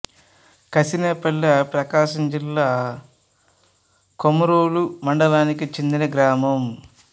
కసినే పల్లె ప్రకాశం జిల్లా కొమరోలు మండలానికి చెందిన గ్రామం